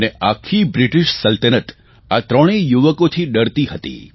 અને આખી બ્રિટિશ સલ્તનત આ ત્રણેય યુવકોથી ડરતી હતી